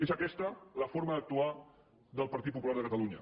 és aquesta la forma d’actuar del partit popular de catalunya